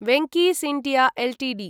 Venky's India Ltd